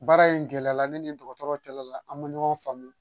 Baara in gɛlɛyala ne ni n dɔgɔtɔrɔ cɛla la an ma ɲɔgɔn faamu